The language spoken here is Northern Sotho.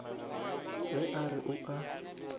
ge a re o a